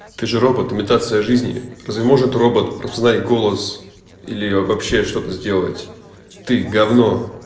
ты же робот имитация жизни разве может робот распознавать голос или вообще что-то сделать ты гавно